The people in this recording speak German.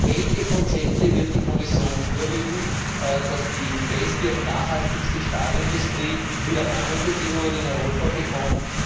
Welche Konzepte wird die Kommission vorlegen, dass die beste und nachhaltigste Stahlindustrie wieder Rahmenbedingungen in Europa bekommt?